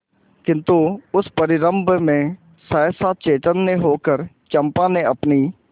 किंतु उस परिरंभ में सहसा चैतन्य होकर चंपा ने अपनी